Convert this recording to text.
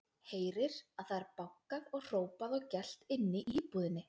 Heyrir að það er bankað og hrópað og gelt inni í íbúðinni.